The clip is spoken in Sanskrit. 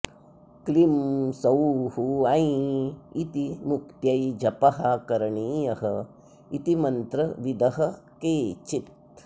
क्लीं सौः ऐं इति मुक्त्यै जपः करणीय इति मन्त्र विदः केचित्